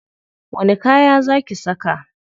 Wani kaya za ki saka?